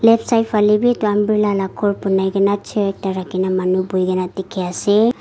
left side phale bi etu umbrella la ghor bonai kene chair ekta rakhi ne manu buhi kene dikhi ase.